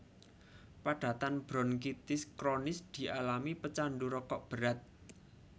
Padatan bronkitis kronis dialami pecandu rokok berat